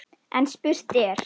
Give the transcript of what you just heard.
En spurt er: